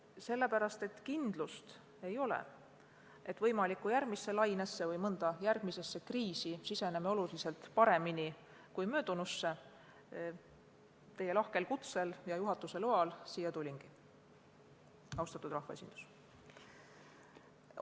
Just sellepärast, et pole kindlust, et me järgmisse võimalikku lainesse või mõnda järgmisse kriisi siseneme oluliselt paremini kui möödunusse, ma teie lahkel kutsel ja juhatuse loal, austatud rahvaesindus, siia tulingi.